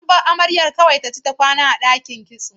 An bar amaryar da za ta kasance kawai ta ci ta kwana a ɗakin kitso.